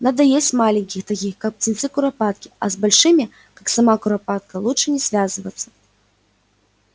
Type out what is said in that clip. надо есть маленьких таких как птенцы куропатки а с большими как сама куропатка лучше не связываться